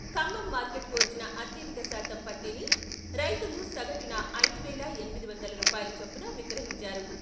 ఖమ్మం మార్కెటుకు వచ్చిన అత్యధిక శాతం పత్తిని రైతులు సగటున ఐదు వేల ఎనిమిది వందల రూపాయల చొప్పున విక్రహించారు.